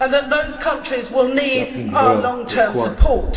Those countries will need our long-term support.